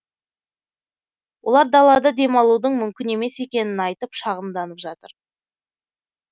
олар далада демалудың мүмкін емес екенін айтып шағымданып жатыр